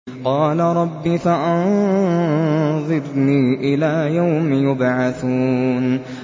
قَالَ رَبِّ فَأَنظِرْنِي إِلَىٰ يَوْمِ يُبْعَثُونَ